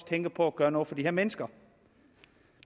tænker på at gøre noget for de her mennesker